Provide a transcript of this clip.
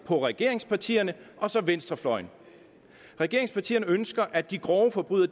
på regeringspartierne og venstrefløjen regeringspartierne ønsker at de grove forbrydere